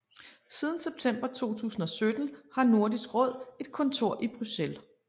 Siden september 2017 har Nordisk Råd et kontor i Bruxelles